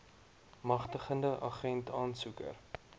magtigende agent aansoeker